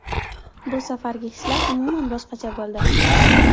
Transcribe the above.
Bu safargi hislar umuman boshqacha bo‘ldi.